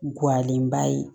Guwanenba ye